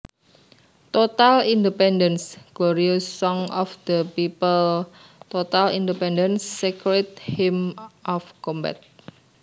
Total independence Glorious song of the people Total independence Sacred hymn of combat